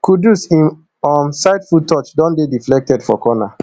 kudus im um sidefoot touch don dey deflected for corner